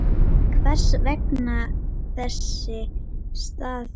Hvers vegna þessi staður?